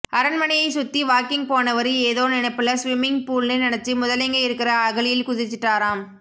அரண்மனையை சுத்தி வாக்கிங் போனவரு ஏதொ நினைப்புல ஸ்விம்மிங் பூல்ன்னு நினைச்சு முதலைங்க இருக்கிற அகழியில குதிச்சிட்டாராம்